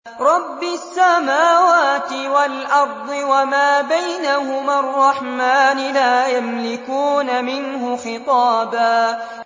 رَّبِّ السَّمَاوَاتِ وَالْأَرْضِ وَمَا بَيْنَهُمَا الرَّحْمَٰنِ ۖ لَا يَمْلِكُونَ مِنْهُ خِطَابًا